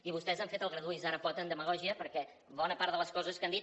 i vostès han fet el graduï’s ara pot amb demagògia perquè bona part de les coses que han dit